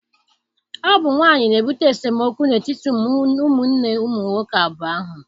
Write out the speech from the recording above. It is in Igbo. Ọ bụ nwaanyị na-ebute esemokwu n'etiti ụmụnne nwoke abụọ ahụ.